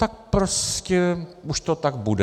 Tak prostě už to tak bude.